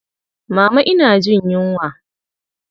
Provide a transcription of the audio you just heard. Mama ina jin yunwa.